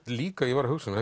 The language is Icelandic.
líka ég var að hugsa um